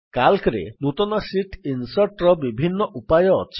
Calcରେ ନୂତନ sheet insert ର ବିଭିନ୍ନ ଉପାୟ ଅଛି